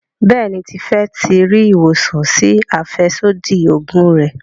Béèni Tife tí rí ìwòsàn sí afẹsodi oògùn rẹ.